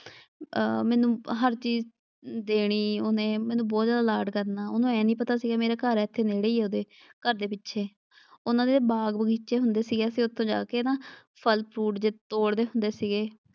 ਅ ਮੈਨੂੰ ਹਰ ਚੀਜ਼ ਦੇਣੀ ਉਹਨੇ ਮੈਨੂੰ ਬਹੁਤ ਜਿਆਦਾ ਲਾਡ ਕਰਨਾ। ਉਹਨੂੰ ਆਏਂ ਨਈਂ ਪਤਾ ਸੀਗਾ ਮੇਰਾ ਘਰ ਨੇੜੇ ਈ ਉਹਦੇ ਘਰ ਦੇ ਪਿੱਛੇ। ਉਨ੍ਹਾਂ ਦੇ ਬਾਗ ਬਗ਼ੀਚੇ ਹੁੰਦੇ ਸੀਗੇ ਅਸੀਂ ਉੱਥੇ ਜਾ ਕੇ ਨਾ ਫ਼ਲ ਫਰੂਟ ਜਿਹੇ ਤੋੜਦੇ ਹੁੰਦੇ ਸੀਗੇ।